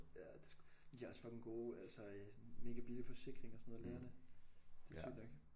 Ja det sgu men de har også fucking gode altså øh mega billige forsikringer og sådan noget lægerne det er sygt nok